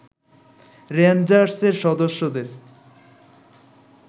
রেঞ্জার্সের সদস্যদের